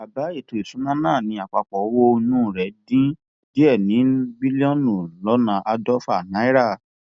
àbá ètò ìṣúná náà ni àpapọ owó inú rẹ dín díẹ ní bílíọnù lọnà àádọfà náírà